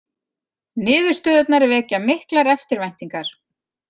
Niðurstöðurnar vekja miklar eftirvæntingar.